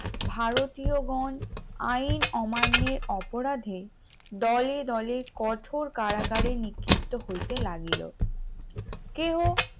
ভারতীয় গন আইন অমান্যের অপরাধে দলে দলে কঠোর কারাগারে নিক্ষিপ্ত হইতে লাগিল কেহ